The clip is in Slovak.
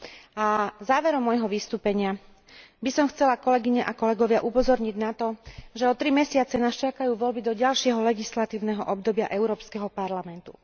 A na záver môjho vystúpenia by som chcela, kolegyne a kolegovia, upozorniť na to, že o tri mesiace nás čakajú voľby do ďalšieho legislatívneho obdobia Európskeho parlamentu.